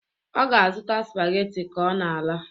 Ọ ga-azụta spaghetti ka ọ na-ala